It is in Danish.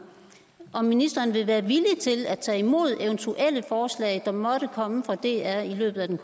om ministeren vil være villig til at tage imod eventuelle forslag der måtte komme fra dr i løbet af den